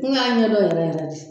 N y'a ɲɛdɔn yɛrɛ yɛrɛ de